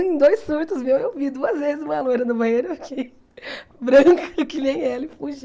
Em dois surtos meu, eu vi duas vezes uma loira no banheiro branca, que nem ela, e fugi.